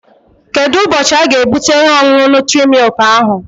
Kedụ ụbọchị aga-ebute ihe ọṅụṅụ nutri-milk ahụ?